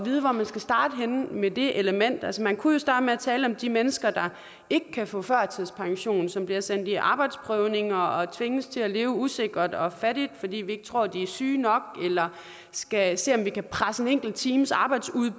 vide hvor man skal starte henne med det element altså man kunne starte med at tale om de mennesker der ikke kan få førtidspension og som bliver sendt i arbejdsprøvninger og tvinges til at leve usikkert og fattigt fordi vi ikke tror de er syge nok og skal se om vi kan presse en enkelt times arbejde